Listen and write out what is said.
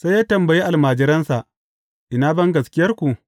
Sai ya tambayi almajiransa, Ina bangaskiyarku?